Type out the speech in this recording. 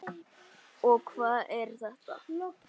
og Hvað er þetta?